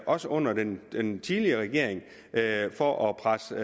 også under den den tidligere regering for at presse